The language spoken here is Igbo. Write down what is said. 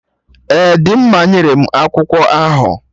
Ee, Dimma nyere m akwụkwọ ahụ